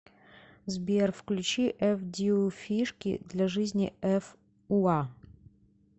сбер включи эф диу фишки для жизни эф уа